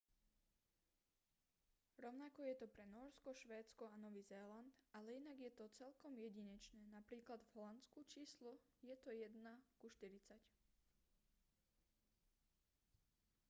rovnako je to pre nórsko švédsko a nový zéland ale inak je to celkom jedinečné napr. v holandsku číslo je to 1 ku štyridsať